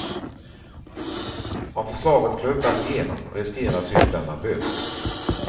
Om förslaget klubbas igenom riskerar syndarna böter.